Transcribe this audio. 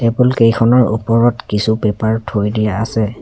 Table কেইখনৰ ওপৰত tissue paper থৈ দিয়া আছে।